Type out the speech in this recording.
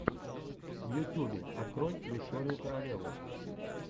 в ютюбе открой викторию королеву